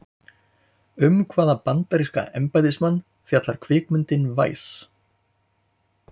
Um hvaða bandaríska embættismann fjallar kvikmyndin Vice?